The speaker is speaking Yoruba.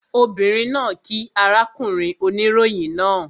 Obìnrin náà kíí arákùnrin oníròyìn náà